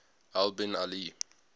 al bin ali